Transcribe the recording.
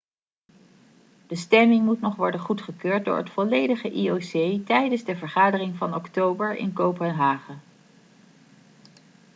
de stemming moet nog worden goedgekeurd door het volledige ioc tijdens de vergadering van oktober in kopenhagen